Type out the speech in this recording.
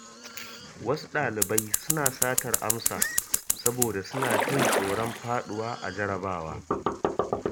Wasu ɗalibai suna satar amsa saboda suna jin tsoron faɗuwa a jarabawa.